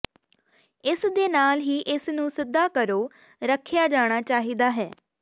ਇਸ ਦੇ ਨਾਲ ਹੀ ਇਸ ਨੂੰ ਸਿਧਾ ਕਰੋ ਰੱਖਿਆ ਜਾਣਾ ਚਾਹੀਦਾ ਹੈ